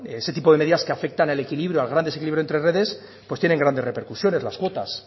ese tipo de medidas que afectan al equilibrio al gran desequilibrio entre redes tienen grandes repercusiones las cuotas